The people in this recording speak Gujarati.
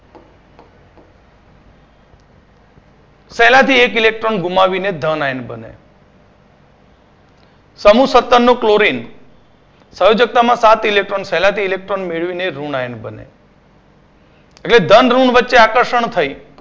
પહેલાથી એક electron ગુમાવીને the nine બને. સમુહ સત્તરનો clorian સંયોજક્તામાં સાત electron પહેલાથી electron મેળવીને રુણાયન બને. એટલે ધન ઋણ વચ્ચે આકર્ષણ થઈ